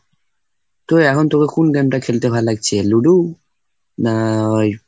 তো এখন তোকে কোন game টা খেলতে ভাল লাগছে? লুডো না ঐ,